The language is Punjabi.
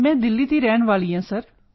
ਮੈਂ ਦਿੱਲੀ ਦੀ ਰਹਿਣ ਵਾਲੀ ਹਾਂ ਸਰ